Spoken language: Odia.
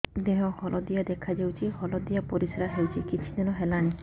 ଦେହ ହଳଦିଆ ଦେଖାଯାଉଛି ହଳଦିଆ ପରିଶ୍ରା ହେଉଛି କିଛିଦିନ ହେଲାଣି